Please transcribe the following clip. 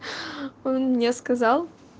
он мне сказал